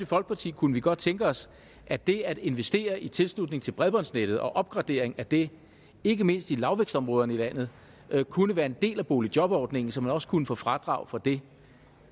folkeparti kunne vi godt tænke os at det at investere i tilslutning til bredbåndsnettet og opgradering af det ikke mindst i lavvækstområderne i landet kunne være en del af boligjobordningen så man også kunne få fradrag for det